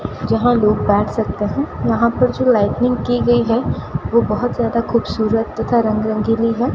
जहां लोग बैठ सकते हैं यहां पर जो लाइटिंग की गई है वो बहोत ज्यादा खूबसूरत तथा रंग रंगीली है।